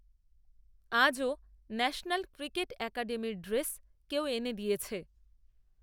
আজও national, cricket, অ্যাকাডেমির dress, কেউ, এনে দিয়েছে